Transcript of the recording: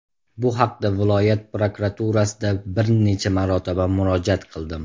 Bu haqda viloyat prokuraturasida bir necha marotaba murojaat qildim.